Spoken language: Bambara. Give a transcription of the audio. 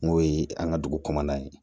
N'o ye an ka dugu kɔnɔna ye